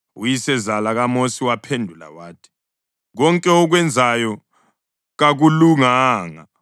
Uyisezala kaMosi waphendula wathi, “Konke okwenzayo kakulunganga.